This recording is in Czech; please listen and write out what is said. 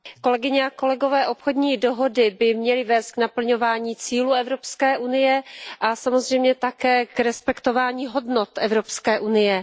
Kolegyně a kolegové, obchodní dohody by měly vést k naplňování cílů Evropské unie a samozřejmě také k respektování hodnot Evropské unie.